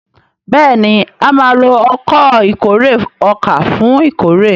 béèni a má ló Ọkọ̀ ìkórè ọkà fún ìkórè.